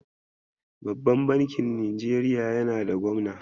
Babban bankin Najeriya yana da gwamna.